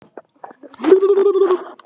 Hann er bjartsýnn og uppörvandi í röddinni.